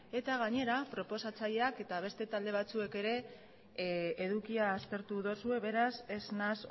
eta gainera proposatzaileak eta beste talde batzuek ere edukia aztertu duzue beraz ez naiz